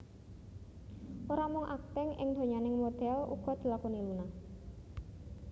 Ora mung akting ing donyaning modhél uga dilakoni Luna